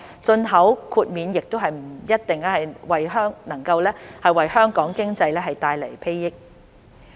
進口豁免亦不一定能為香港經濟帶來裨益。